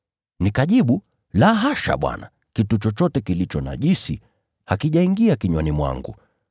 “Nikajibu, ‘La hasha Bwana! Kitu chochote kilicho najisi hakijaingia kinywani mwangu.’